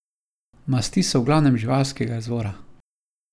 Masti so v glavnem živalskega izvora.